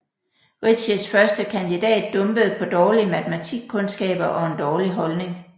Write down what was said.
Ritcheys første kandidat dumpede på dårlige matematikkundskaber og en dårlig holdning